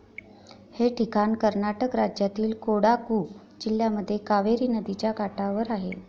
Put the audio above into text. हे ठिकाण कर्नाटक राज्यातील कोडागु जिल्ह्यामध्ये कावेरी नदिच्या काठावर आहे.